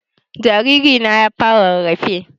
Jariri na ya fara rarrafe